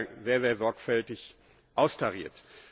Das haben wir ja sehr sorgfältig austariert.